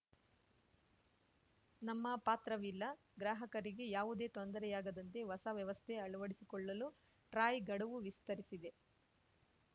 ನಮ್ಮ ಪಾತ್ರವಿಲ್ಲ ಗ್ರಾಹಕರಿಗೆ ಯಾವುದೇ ತೊಂದರೆಯಾಗದಂತೆ ಹೊಸ ವ್ಯವಸ್ಥೆ ಅಳವಡಿಸಿಕೊಳ್ಳಲು ಟ್ರಾಯ್‌ ಗಡುವು ವಿಸ್ತರಿಸಿದೆ